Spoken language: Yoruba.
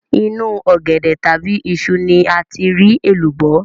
Inú ọ̀gẹ̀dẹ̀ tàbí iṣu ni a ti rí èlùbọ́